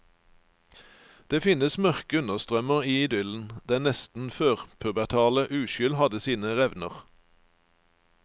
Det finnes mørke understrømmer i idyllen, den nesten førpubertale uskyld hadde sine revner.